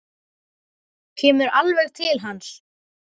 Kemur alveg til hans.